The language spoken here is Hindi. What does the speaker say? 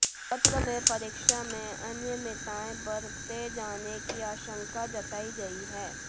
पत्र में परीक्षा में अनियमितताएं बरते जाने की आश्ंाका जताई गई है